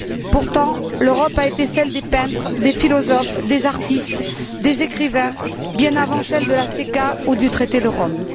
Pourtant, l'Europe a été celle des peintres, des philosophes, des artistes, des écrivains bien avant celle de la CECA ou du traité de Rome.